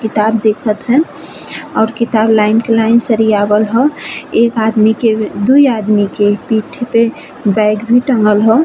किताब देखत हैं और किताब लाइन के लाइन सरियावल हौ। एक आदमी के दुई आदमी के पीठि पे बैग भी टंगल हौ।